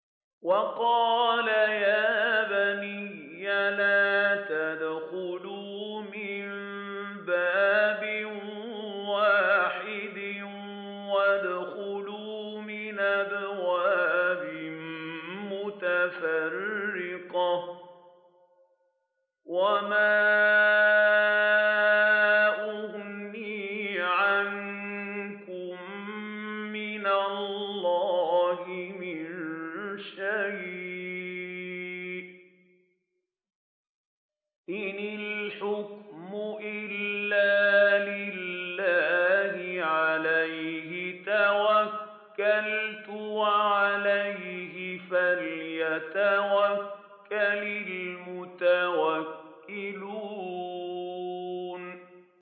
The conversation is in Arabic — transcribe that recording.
وَقَالَ يَا بَنِيَّ لَا تَدْخُلُوا مِن بَابٍ وَاحِدٍ وَادْخُلُوا مِنْ أَبْوَابٍ مُّتَفَرِّقَةٍ ۖ وَمَا أُغْنِي عَنكُم مِّنَ اللَّهِ مِن شَيْءٍ ۖ إِنِ الْحُكْمُ إِلَّا لِلَّهِ ۖ عَلَيْهِ تَوَكَّلْتُ ۖ وَعَلَيْهِ فَلْيَتَوَكَّلِ الْمُتَوَكِّلُونَ